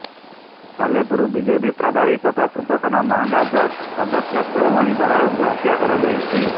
Salepur BJP ପ୍ରଭାରୀ ତଥା ପୂର୍ବତନ ମାହାଙ୍ଗା ବ୍ଲକ ଅଧ୍ୟକ୍ଷ କୁଳମଣି ବରାଳଙ୍କୁ ହତ୍ୟା କରାଯାଇଛି